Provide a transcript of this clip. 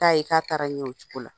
N'a ye k'a taara ɲɛ o cogo la.